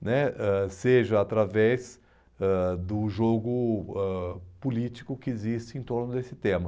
né, ãh seja através ãh do jogo ãh político que existe em torno desse tema.